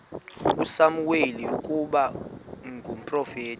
usamuweli ukuba ngumprofeti